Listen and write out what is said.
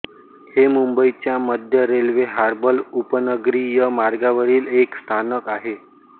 हे मुंबईच्या मध्य रेल्वे हार्बर उपनगरीय मार्गावरील एक स्थानक आहे